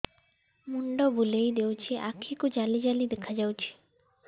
ମୁଣ୍ଡ ବୁଲେଇ ଦେଉଛି ଆଖି କୁ ଜାଲି ଜାଲି ଦେଖା ଯାଉଛି